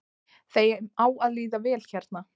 Þeim á að líða vel hér